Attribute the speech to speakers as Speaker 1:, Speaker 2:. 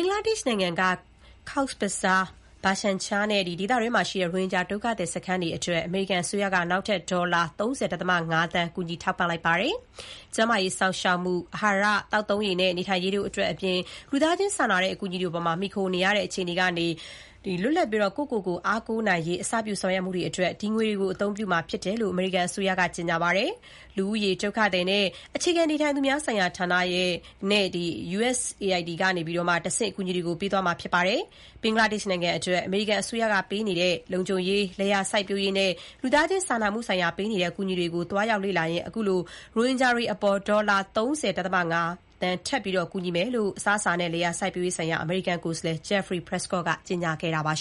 Speaker 1: ်္ဂလားဒေရှ့်နိုင်ငံက Cox’s Bazar၊ Bhasan Char နဲ့ ဒေသတွင်းမှာရှိတဲ့ ရိုဟင်ဂျာ ဒုက္ခသည်စခန်းတွေအတွက် အမေရိကန်အစိုးရက နောက်ထပ် ဒေါ်လာ ၃၀.၅ သန်း ကူညီထောက်ပံ့လိုက်ပါတယ်။ ကျန်းမာရေးစောင့်ရှောက်မှု၊ အဟာရ၊ သောက်သုံးရေနဲ့ နေထိုင်ရေးတို့အတွက်အပြင် လူသားချင်းစာနာတဲ့ အကူအညီတွေအပေါ် မှီခိုအားထားနေရတဲ့ အခြေအနေကနေ လွတ်ပြီး ကိုယ့်ကိုယ်ကို အားကိုးနိုင်ရေး အစပြု ဆောင်ရွက်မှုတွေအတွက် ဒီငွေတွေကို အသုံးပြုမှာဖြစ်တယ်လို့ အမေရိကန်အစိုးရက ကြေညာပါတယ်။ လူဦးရေ၊ ဒုက္ခသည်နဲ့ အခြေချနေထိုင်သူများဆိုင်ရာဌာနဲ့ USAID ကနေ တဆင့်အကူအညီတွေကို ပေးသွားမှာဖြစ်ပါတယ်။ ဘင်္ဂလားဒေရှ့်နိုင်ငံအတွက် အမေရိကန်အစိုးရက ပေးနေတဲ့ လုံခြုံရေး၊ လယ်ယာစိုက်ပျိုးရေးနဲ့ လူသားချင်းစာမှုဆိုင်ရာ ပေးနေတဲ့ အကူအညီတွေကို သွားရောက်လေ့လာရင်း အခုလို ရိုဟင်ဂျာတွေအတွက် ဒေါ်လာ ၃၀.၅ သန်း ထပ်ပြီး ကူညီမယ်လို့ အစားအစာနဲ့ လယ်ယာစိုက်ပျိုးရေးဆိုင်ရာ အမေရိကန်ကိုယ်စားလှယ် Jeffrey Prescott ကကြေညာခဲ့တာပါ။